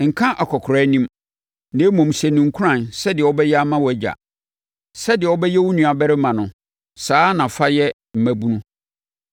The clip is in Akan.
Nka akɔkoraa anim, na mmom, hyɛ no nkuran, sɛdeɛ wobɛyɛ ama wʼagya. Sɛdeɛ wobɛyɛ wo nuabarima no saa ara na fa yɛ mmabunu,